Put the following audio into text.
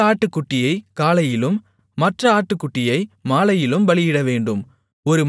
ஒரு ஆட்டுக்குட்டியைக் காலையிலும் மற்ற ஆட்டுக்குட்டியை மாலையிலும் பலியிடவேண்டும்